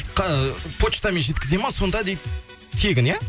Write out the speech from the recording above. почтамен жеткізеді ма сонда дейді тегін иә